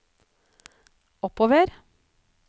oppover